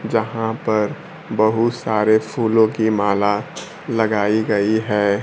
जहां पर बहुत सारे फूलों की माला लगाई गई है।